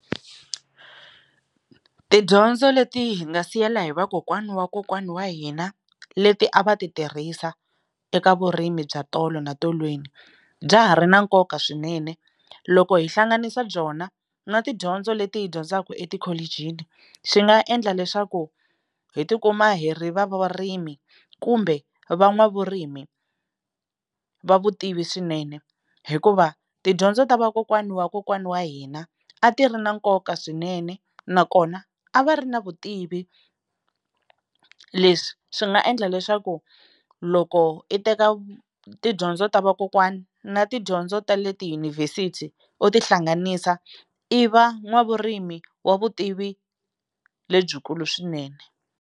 Tidyondzo leti hi nga siyela hi vakokwana wa kokwana wa hina leti a va ti tirhisa eka vurimi bya tolo na tolweni bya ha ri na nkoka swinene loko hi hlanganisa byona na tidyondzo leti hi dyondzaka etikholichini swi nga endla leswaku hi tikuma hi ri va vurimi kumbe van'wavurimi va vutivi swinene hikuva tidyondzo ta vakokwana wa kokwana wa hina a ti ri na nkoka swinene nakona a va ri na vutivi leswi swi nga endla leswaku loko i teka tidyondzo ta vakokwana na tidyondzo tale tiyunivhesiti u ti hlanganisa i va n'wavurimi wa vutivi lebyikulu swinene.